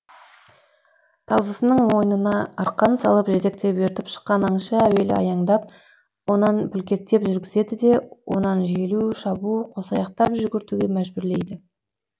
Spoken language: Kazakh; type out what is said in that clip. тазысының мойнына арқан салып жетектеп ертіп шыққан аңшы әуелі аяңдап онан бүлкектеп жүргізеді де онан желу шабу қосаяқтап жүгіртуге мәжбүрлейді